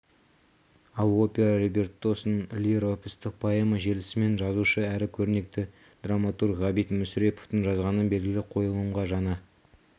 ал опера либреттосын лиро-эпостық поэма желісімен жазушы әрі көрнекті драматург ғабит мүсіреповтің жазғаны белгілі қойылымға жаңа